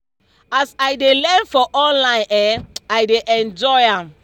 as i dey learn for online[um]i dey enjoy am